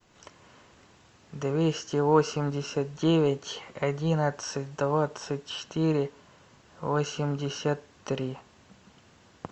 двести восемьдесят девять одиннадцать двадцать четыре восемьдесят три